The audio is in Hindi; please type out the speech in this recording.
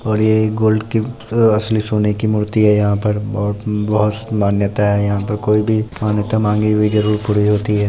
और ये गोल्ड की आ असली सोने की मूर्ति है यहाँ पर बहुत उम्म बहुत मान्यता है यहाँ पर कोई भी मान्यता मांगे जरूर पूरी होती है।